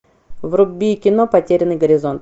вруби кино потерянный горизонт